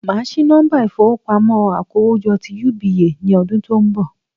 Màá sí nọ́mbà ìfowópamọ́ akówójọ́ ti UBA ní ọdún tí ó n bọ̀